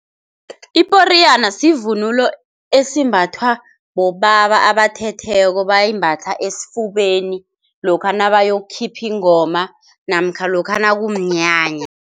Iporiyana sivunulo esimbathwa bobaba abathetheko bayimbatha esifubeni lokha nabayokukhipha ingoma namkha lokha nakumnyanya.